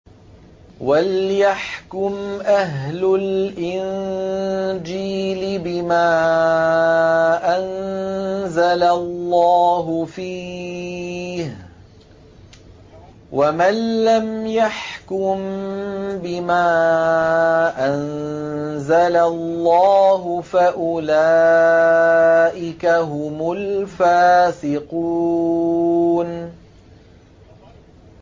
وَلْيَحْكُمْ أَهْلُ الْإِنجِيلِ بِمَا أَنزَلَ اللَّهُ فِيهِ ۚ وَمَن لَّمْ يَحْكُم بِمَا أَنزَلَ اللَّهُ فَأُولَٰئِكَ هُمُ الْفَاسِقُونَ